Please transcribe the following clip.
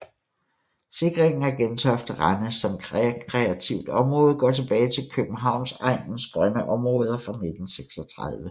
Sikringen af Gentofte Rende som rekreativt område går tilbage til Københavnsegnens grønne Omraader fra 1936